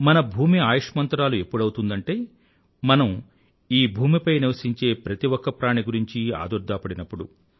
మన భూమి ఆయుష్మంతురాలు ఎప్పుడవుతుందంటే మనం ఈ భూమిపై నివసించే ప్రతి ఒక్క ప్రాణి గురించి ఆదుర్దా పడినప్పుడు